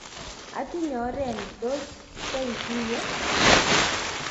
atinye oret ni tos keguiyegei